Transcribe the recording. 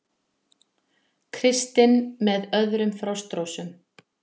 Kristinn með öðrum Frostrósum